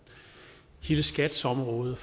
hele skats område